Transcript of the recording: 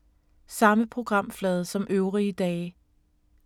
Samme programflade som øvrige dage